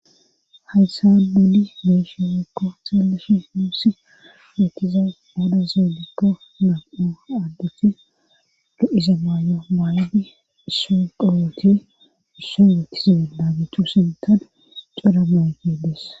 hayssa duudi meeshewekko xeeleshi muusi eytiza moda zeelikko nam7o addeti lo7iza maay7o maayidi issu qawoote isso metizeenaagitu sintan cora mawti des